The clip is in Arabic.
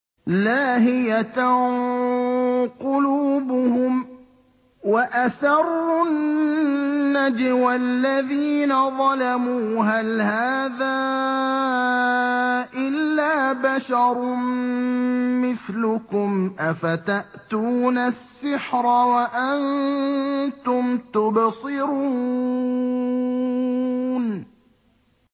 لَاهِيَةً قُلُوبُهُمْ ۗ وَأَسَرُّوا النَّجْوَى الَّذِينَ ظَلَمُوا هَلْ هَٰذَا إِلَّا بَشَرٌ مِّثْلُكُمْ ۖ أَفَتَأْتُونَ السِّحْرَ وَأَنتُمْ تُبْصِرُونَ